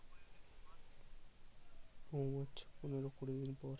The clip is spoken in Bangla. ও আচ্ছা পনোরো কুড়ি দিন পর